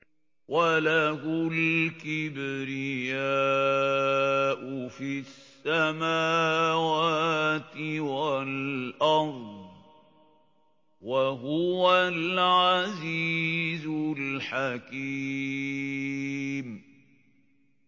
وَلَهُ الْكِبْرِيَاءُ فِي السَّمَاوَاتِ وَالْأَرْضِ ۖ وَهُوَ الْعَزِيزُ الْحَكِيمُ